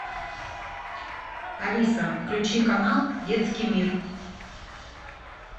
алиса включи канал детский мир